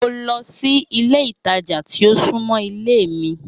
Mo lọ si ile itaja ti o sunmọ ile mi.